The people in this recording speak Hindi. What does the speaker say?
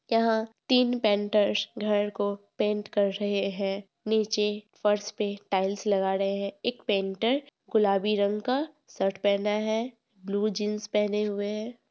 यह तीन पेंटर्स घर को पेंट कर रहे हैं | नीचे फर्श पे टाइल्स लगा रहे हैं | एक पेंटर गुलाबी रंग का शर्ट पहना है ब्लू जिंस पहने हुए हैं।